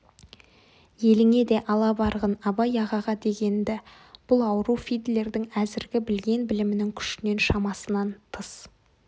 еліңе де ала барғын абай ағаға деген-ді бұл ауру фидлердің әзіргі білген білімінің күшінен шамасынан тыс